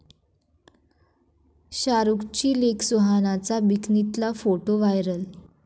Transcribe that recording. शाहरूखची लेक सुहानाचा बिकनीतला फोटो व्हायरल!